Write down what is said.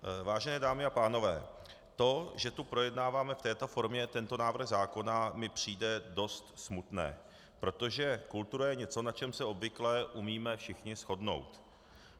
Vážené dámy a pánové, to, že tu projednáváme v této formě tento návrh zákona, mi přijde dost smutné, protože kultura je něco, na čem se obvykle umíme všichni shodnout.